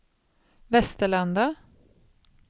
Västerlanda